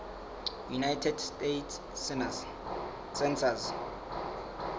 united states census